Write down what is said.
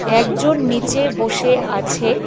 একজন নীচে বসে আছে।